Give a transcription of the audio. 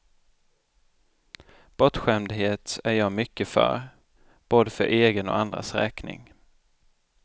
Bortskämdhet är jag mycket för, både för egen och andras räkning.